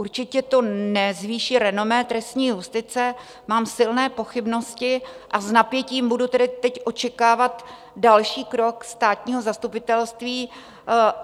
Určitě to nezvýší renomé trestní justice, mám silné pochybnosti, a s napětím budu tedy teď očekávat další krok státního zastupitelství.